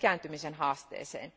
ikääntymisen haasteeseen.